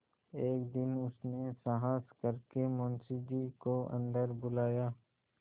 एक दिन उसने साहस करके मुंशी जी को अन्दर बुलाया